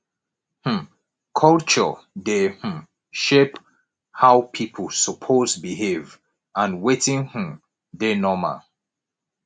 um culture dey um shape how pipo suppose behave and wetin um dey normal